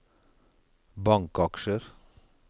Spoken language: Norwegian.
bankaksjer